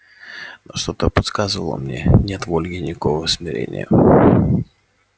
но что-то подсказывало мне нет в ольге никакого смирения